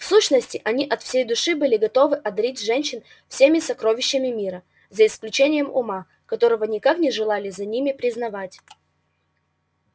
в сущности они от всей души были готовы одарить женщин всеми сокровищами мира за исключением ума которого никак не желали за ними признавать